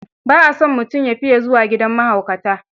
Ba a son mutum ya fiya zuwa gidan mahaukata.